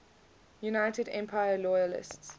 united empire loyalists